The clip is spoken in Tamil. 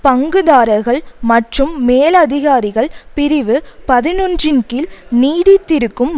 பங்குதாரர்கள் மற்றும் மேலதிகாரிகள் பிரிவு பதினொன்றுன் கீழ் நீடித்திருக்கும்